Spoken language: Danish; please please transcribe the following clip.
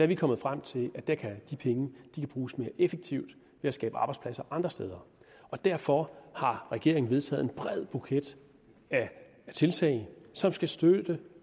vi kommet frem til at de penge kan bruges mere effektivt ved at skabe arbejdspladser andre steder derfor har regeringen vedtaget en bred buket af tiltag som skal støtte